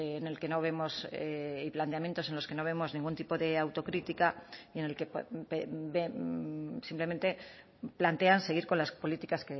en el que no vemos y planteamientos en los que no vemos ningún tipo de autocrítica y en el que simplemente plantean seguir con las políticas